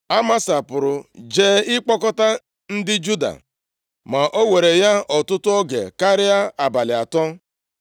Amasa pụrụ jee ịkpọkọta ndị Juda; ma o were ya ọtụtụ oge karịa abalị atọ.